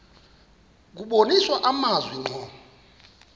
kubonisa amazwi ngqo